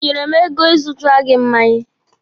Ị nyere m ego ị zụtara gị mmanya?